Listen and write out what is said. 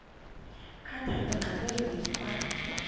khatha engxoweni kwa